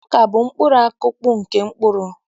Ọka bụ mkpụrụakụkpụ nke mkpụrụ